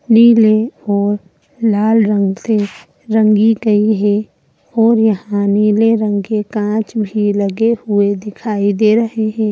नीले और लाल रंग से रंगी गई है और यहां नीले रंग के कांच भी लगे हुए दिखाई दे रहे है।